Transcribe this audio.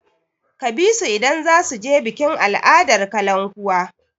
Ka bi su idan za su je bikin al'adar kalankuwa!